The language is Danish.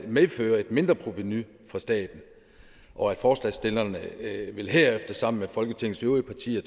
medføre et mindreprovenu for staten og at forslagsstillerne herefter sammen med folketingets øvrige partier